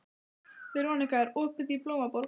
Veronika, er opið í Blómaborg?